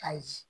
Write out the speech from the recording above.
Ayi